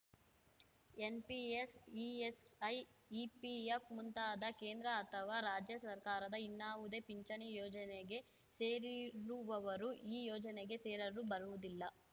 NPS ESI EPF ಮುಂತಾದ ಕೇಂದ್ರ ಅಥವಾ ರಾಜ್ಯ ಸರ್ಕಾರದ ಇನ್ನಾವುದೇ ಪಿಂಚಣಿ ಯೋಜನೆಗೆ ಸೇರಿರುವವರು ಈ ಯೋಜನೆಗೆ ಸೇರಲು ಬರುವುದಿಲ್ಲ